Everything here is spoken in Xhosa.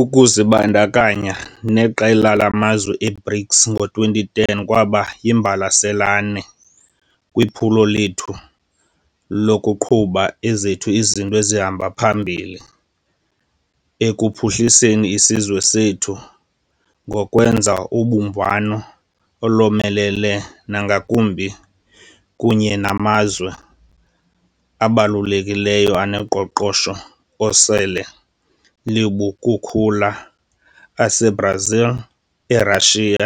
Ukuzibandakanya neqela lamazwe e-BRICS ngo-2010 kwaba yimbalasane kwiphulo lethu lokuqhuba ezethu izinto ezihamba phambili ekuphuhliseni isizwe sethu ngokwenza ubumbano olomelele nangakumbi kunye namazwe abalulekileyo anoqoqosho osele lubukukhula ase-Brazil, e-Russia,